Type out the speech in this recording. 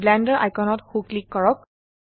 blender আইকনত সো click কৰক